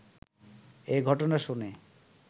এ ঘটনা শুনে